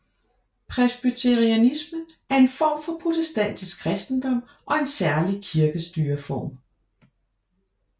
Presbyterianisme er en form for protestantisk kristendom og en særlig kirkestyreform